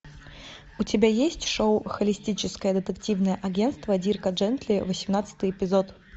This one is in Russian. у тебя есть шоу холистическое детективное агентство дирка джентли восемнадцатый эпизод